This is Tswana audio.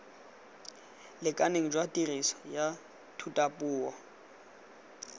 lekaneng jwa tiriso ya thutapuo